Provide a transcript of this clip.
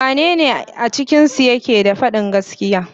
Wanne ne a cikinsu yake fadin gaskiya.